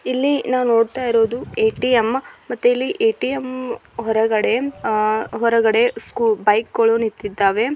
ಇಲ್ಲಿ ನವೋ ನೋಡ್ತಾ ಇರೋದ್ದು ಏ. ಟಿ. ಎಂ ಮತ್ತೆ ಇಲ್ಲಿ ಏ. ಟಿ. ಎಂ ಹೊರಗಡೆ ಬೈಕ್ಗಳು ನಿಂತಿದವ್ವೆ